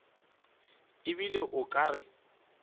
e bile o ka re